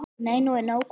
Nei, nú er nóg komið!